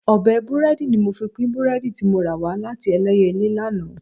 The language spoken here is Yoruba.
Ọ̀bẹ búrẹ́dì ni mo fi pín búrẹ́dì tí mo rà wá láti Ẹlẹ́yẹlé lánàá